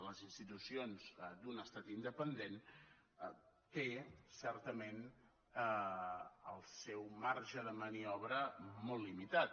les institucions d’un estat independent té certament el seu marge de maniobra molt limitat